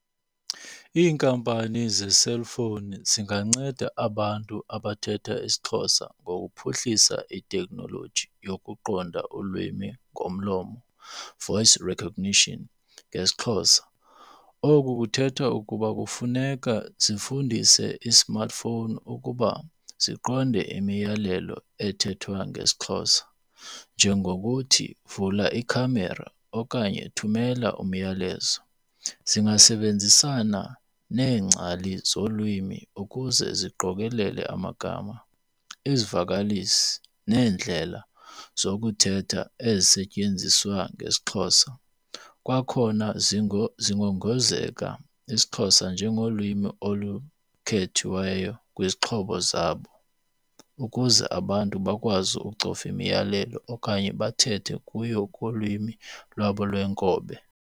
Iinkampani zeselfowuni zinganceda abantu abathetha isiXhosa ngokuphuhlisa iteknoloji yokuqonda ulwimi ngomlomo, voice recognition ngesiXhosa. Oku kuthetha ukuba kufuneka zifundise i-smartphone ukuba siqonde imiyalelo ethethwa ngesiXhosa njengokuthi vula ikhamera okanye thumela umyalezo. Zingasebenzisana neengcali zolwimi ukuze ziqokelele amagama, izivakalisi, neendlela zokuthetha ezisetyenziswa ngesiXhosa. Kwakhona zingongozeka isiXhosa njengolwimi olukhethiweyo kwizixhobo zabo ukuze abantu bakwazi ukucofa imiyalelo okanye bathethe kuyo kulwimi lwabo lweenkobe.